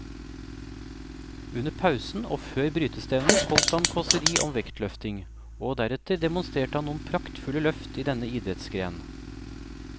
Under pausen og før brytestevnet holdt han kåseri om vektløfting, og deretter demonstrerte han noen praktfulle løft i denne idrettsgren.